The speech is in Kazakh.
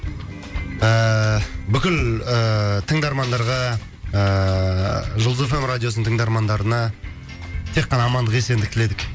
ыыы бүкіл ыыы тыңдармандарға ыыы жұлдыз эф эм радиосының тыңдармандарына тек қана амандық есендік тіледік